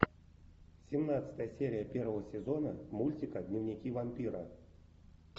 семнадцатая серия первого сезона мультика дневники вампира